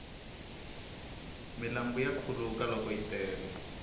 milambu ya khuluka loko yi tele